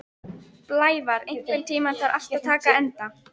Blævar, einhvern tímann þarf allt að taka enda.